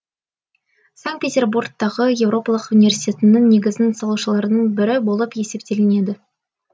санкт петербургтағы еуропалық университетінің негізін салушылардың бірі болып есептелінеді